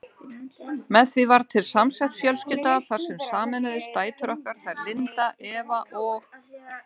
Með því varð til samsett fjölskylda þar sem sameinuðust dætur okkar, þær Linda, Eva og